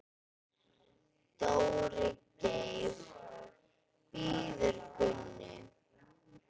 Dóri Geir bíður Gunnu.